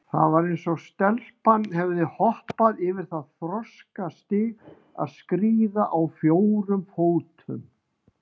Það var eins og stelpan hefði hoppað yfir það þroskastig að skríða á fjórum fótum.